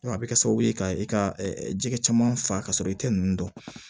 a bɛ kɛ sababu ye ka i ka jɛgɛ caman fa ka sɔrɔ i tɛ ninnu dɔn